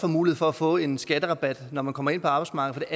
mulighed for at få en skatterabat når man så kommer ind på arbejdsmarkedet